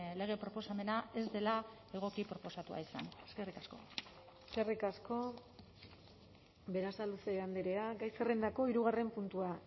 lege proposamena ez dela egoki proposatua izan eskerrik asko eskerrik asko berasaluze andrea gai zerrendako hirugarren puntua